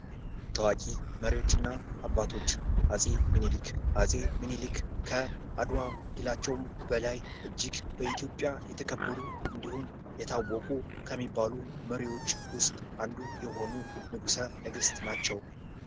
ታዋቂ መሪዎችና አባቶች አጼ ሚኒሊክ አጼ ሚኒሊክ ከአድዋ ድላቸውም በላይ እጅግ በኢትዮጵያ የተከበሩ እንድሁም የታወቁ ከሚባሉ መሪዎች ውስጥ አንዱ የሆኑ ንጉሠነገሥት ናቸው።